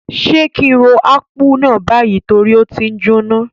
Sé ki n ro Akpu náà bayi torí o ti njoná?